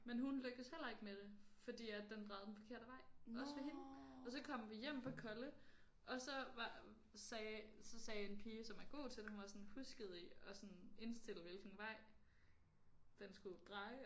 Men hun lykkedes heller ikke med det fordi at den drejede den forkerte vej også for hende og så kom vi hjem på kolle og så var sagde så sagde en pige som er god til det hun var sådan huskede I at sådan indstille hvilken vej den skulle dreje